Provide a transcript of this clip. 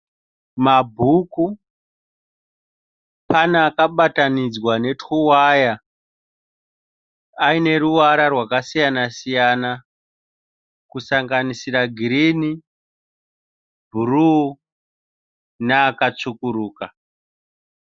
Mabhuku, pane akabatanidzwa netuwaya aine ruvara rwakasiyana-siyana kusanganisira girini, bhuruu naakatsvukuruka.